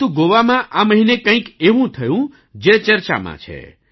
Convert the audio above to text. પરંતુ ગોવામાં આ મહિને કંઈક એવું થયું જે ચર્ચામાં છે